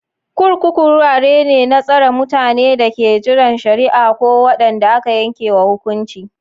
Kurkuku wurare ne na tsare mutanen da ke jiran shari'a ko wanda aka yanke wa hukunci.